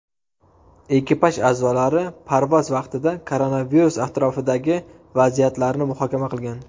Ekipaj a’zolari parvoz vaqtida koronavirus atrofidagi vaziyatlarni muhokama qilgan .